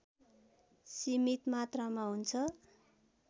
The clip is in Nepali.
सीमित मात्रामा हुन्छ